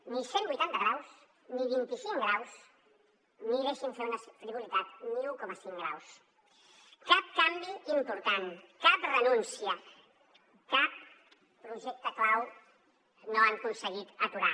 ni cent vuitanta graus ni vint i cinc graus ni deixin me fer una frivolitat un coma cinc graus cap canvi important cap renúncia cap projecte clau no han aconseguit aturar